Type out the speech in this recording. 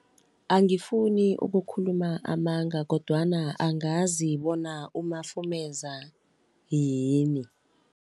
Angifuni ukukhuluma amanga kodwana angazi bona umafumeza yini.